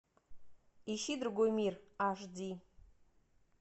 ищи другой мир аш ди